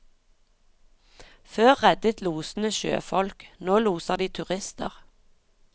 Før reddet losene sjøfolk, nå loser de turister.